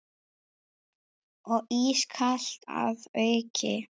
Og ískalt að auki.